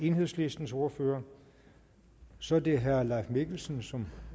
enhedslistens ordfører så er det herre leif mikkelsen som